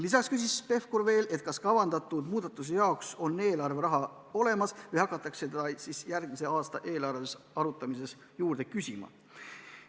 Lisaks küsis Pevkur veel, kas kavandatud muudatuste jaoks on eelarveraha olemas või hakatakse seda järgmise aasta eelarve arutamisel juurde küsima.